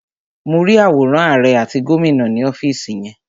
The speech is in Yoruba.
Mo rí àwòrán àrẹ àti gómìnà ni ọ́fìsì yẹn.